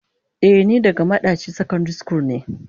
Eh ni daga madaci secondary school ne.